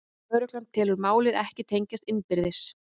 Lögregla telur málin ekki tengjast innbyrðis